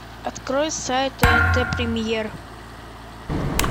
открой сайт тнт премьер